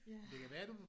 Ja